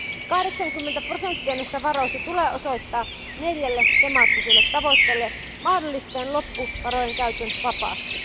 80 prosenttia näistä varoista tulee osoittaa neljälle temaattiselle tavoitteelle, mikä mahdollistaa loppuvarojen käytön vapaasti.